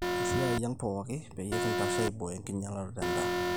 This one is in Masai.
esiai ang pooki pee kintashe aiboyo enkinyialaroto endaa